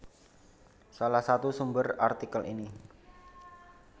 Salah satu sumber artikel ini